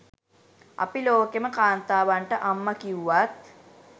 අපි ලෝකෙම කාන්තාවන්ට අම්ම කිව්වත්